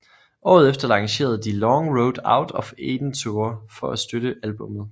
Året efter lancerede de Long Road Out of Eden Tour for at støtte albummet